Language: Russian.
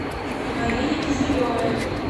марине киселевой